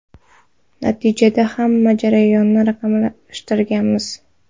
Natijada hamma jarayonni raqamlashtiramiz.